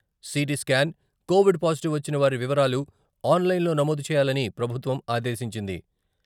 CT scan, Covid positive వచ్చిన వారి వివరాలు ఆన్లైన్లో నమోదు చేయాలని ప్రభుత్వం ఆదేశించింది.